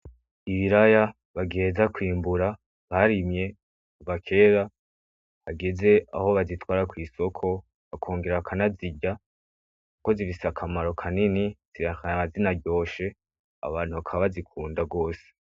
Ibiraya bagiheza kwimbura barimye kuva kera hageze aho bazitwara kw'isoko bakongera bakanazirya kuko zifise akamaro kanini zikaba zinaryoshe abantu bakaba bazikunda gose.